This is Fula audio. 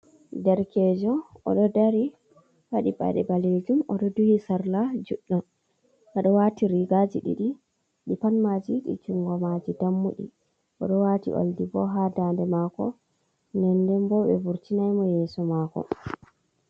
Derkejo, oɗo dari waɗi paɗe ɓalejum, oɗo duhi sarla juɗɗom, oɗo wati rigaji ɗiɗi ɗi panmaji ɗi jungomaji dammuɗi, oɗo wati oldi bo ha dande mako denden bo ɓe vurtinaimo yeso mako.